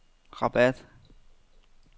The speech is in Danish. Rabat